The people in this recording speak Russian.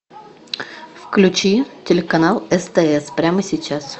включи телеканал стс прямо сейчас